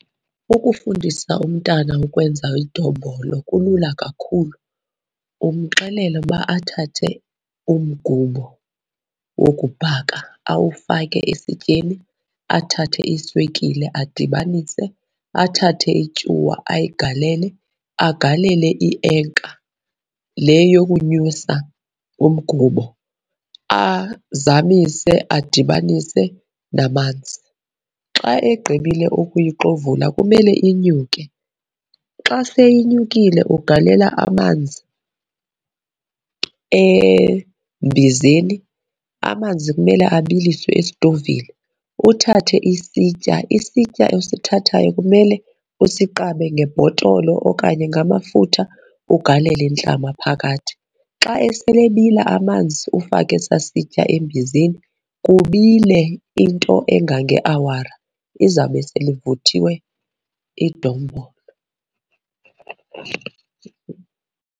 Ukufundisa umntana ukwenza idombolo kulula kakhulu. Umxelela uba athathe umgubo wokubhaka awufake isityeni, athathe iswekile adibanise, athathe ityuwa ayigalele. Agalele ienka le yokunyusa umgubo azamise, adibanise namanzi. Xa egqibile ukuyixovula kumele inyuke. Xa seyinyukile ugalela amanzi embizeni, amanzi kumele abiliswe esitovini. Uthathe isitya, isitya osithathayo kumele usiqabe ngebhotolo okanye ngamafutha ugalele intlama phakathi. Xa esele ebila amanzi ufake esaa sitya embizeni, kubile into engangeawara. Izawube selivuthiwe idombolo.